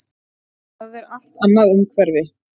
Það er allt annað umhverfi.